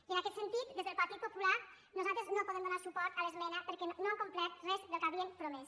i en aquest sentit des del partit popular nosaltres no podem donar suport a l’esmena perquè no han complert res del que havien promès